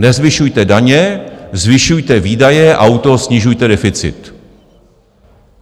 Nezvyšujte daně, zvyšujte výdaje a u toho snižujte deficit.